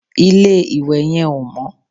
Ilé-ìwẹ̀ yẹn ò mọ́